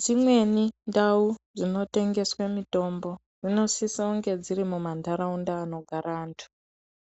Dzimweni ndau dzinotengeswe mitombo, dzinosise kunge dziri mumantharaunda anogara anthu,